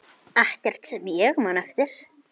Ekkert sem ég man eftir.